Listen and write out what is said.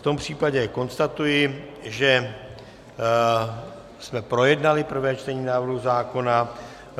V tom případě konstatuji, že jsme projednali první čtení návrhu zákona.